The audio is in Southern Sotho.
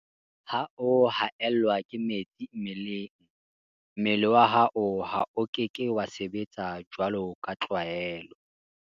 Ha o haellwa ke metsi mmeleng, mmele wa hao o ke ke wa sebetsa jwaloka tlwaelo.